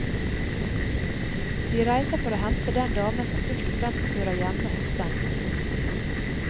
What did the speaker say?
De reiser for å hente den damen som først og fremst hører hjemme hos dem.